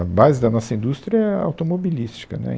A base da nossa indústria é a automobilística, né